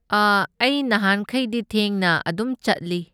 ꯑ ꯑꯩ ꯅꯍꯥꯟꯈꯩꯗꯤ ꯊꯦꯡꯅ ꯑꯗꯨꯝ ꯆꯠꯂꯤ꯫